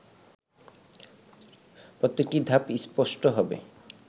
প্রত্যেকটি ধাপ স্পষ্ট হবে